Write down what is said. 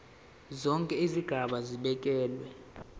zonke izigaba zibekelwe